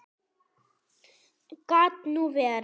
Gat nú verið